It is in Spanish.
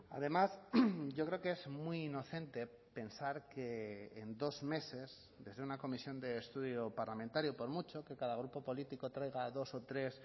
además yo creo que es muy inocente pensar que en dos meses desde una comisión de estudio parlamentario por mucho que cada grupo político traiga dos o tres